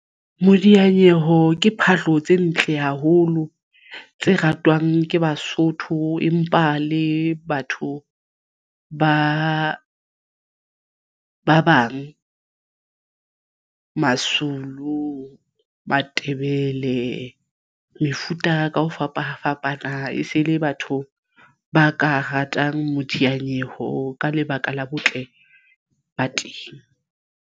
Modianyeho ke phahlo tse ntle haholo tse ratwang ke Basotho, empa le batho ba bang Mazulu, Matebele mefuta ka ho fapafapana e se le batho ba ka ratang modiyanyeho ka lebaka la botle ba teng.